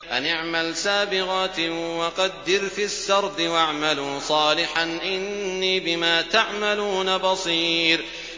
أَنِ اعْمَلْ سَابِغَاتٍ وَقَدِّرْ فِي السَّرْدِ ۖ وَاعْمَلُوا صَالِحًا ۖ إِنِّي بِمَا تَعْمَلُونَ بَصِيرٌ